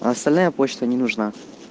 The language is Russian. остальная почта не нужна